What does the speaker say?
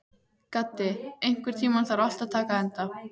Gaddi, einhvern tímann þarf allt að taka enda.